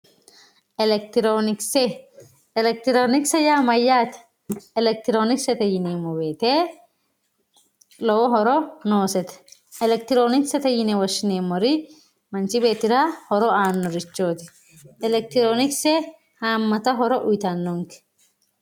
Elekitironkise, elekitironkise yaa mayate, elekitironkisete yineemmo woyte lowo horo noosete, elekitironkise yinne woshshineemmori manchi beettira horo aanorichoti, elekitironkise hamata horo uyittanonke.